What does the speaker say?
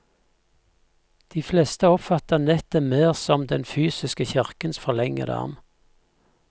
De fleste oppfatter nettet mer som den fysiske kirkens forlengede arm.